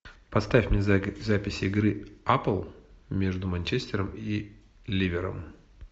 поставь мне запись игры апл между манчестером и ливером